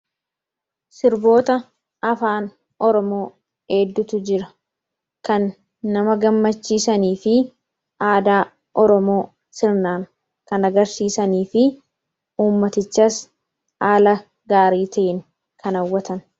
Sirboota afaan Oromoo heddutu jira. Kan nama gammachii sanii fi aadaa Oromoo sirnaan kan agarsiisanii fi ummatichas haala gaarii ta'een kan haawwatanidha.